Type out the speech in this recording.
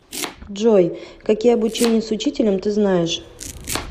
джой какие обучение с учителем ты знаешь